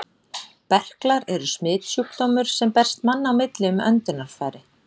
Berklar eru smitsjúkdómur, sem berst manna á milli um öndunarfæri.